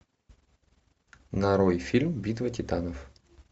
нарой фильм битва титанов